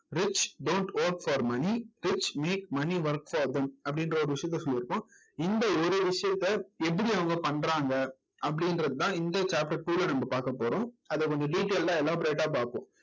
rich don't work for money rich make money works for them அப்படின்ற ஒரு விஷயத்த சொல்லி இருக்கோம் இந்த ஒரு விஷயத்த எப்படி அவங்க பண்றாங்க அப்படின்றதுதான் இந்த chapter two ல நம்ம பார்க்க போறோம் அதை கொஞ்சம் detailed ஆ elaborate ஆ பார்ப்போம்